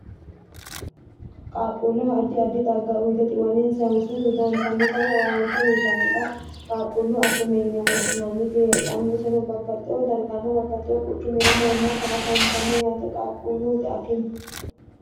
qaaqquulleho addi addi xagga uyiite xiwaninsanni hursate dodantannota woye owaante uyitannota qaaqquulluu akime yine woshshinanniti heedhanno iseno babbaxxewo darganna babbaxxewo quchu mira haammata afantanno yaate qaaqqulluut akime.